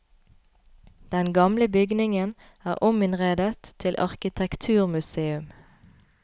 Den gamle bygningen er ominnredet til arkitekturmuseum.